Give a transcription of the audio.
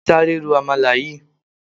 Sáré ro àmàlà yìí.